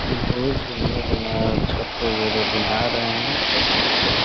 बहोत बढ़िया बनाया है अच्छा बना रहे हैं लकड़ी का।